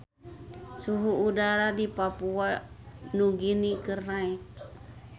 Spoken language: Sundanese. Suhu udara di Papua Nugini keur naek